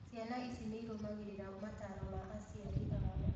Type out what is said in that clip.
Ciana ici nĩirũmagĩrĩra mataro ma aciari ao